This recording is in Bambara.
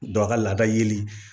Dɔ ka lada yeli